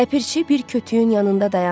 Ləpirçi bir kütüyün yanında dayandı.